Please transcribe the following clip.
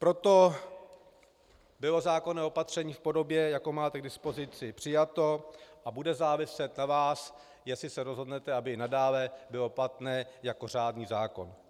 Proto bylo zákonné opatření v podobě, jakou máte k dispozici, přijato a bude záviset na vás, jestli se rozhodnete, aby nadále bylo platné jako řádný zákon.